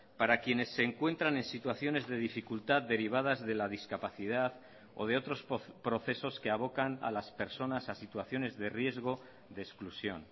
para quienes se encuentran en situaciones de dificultad derivadas de la discapacidad o de otros procesos que abocan a las personas a situaciones de riesgo de exclusión